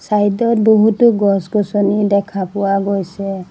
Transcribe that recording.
Side ত বহুতো গছ গছনি দেখা পোৱা গৈছে।